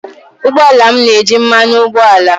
ụgbọ ala m na-eji mmanụ ụgbọala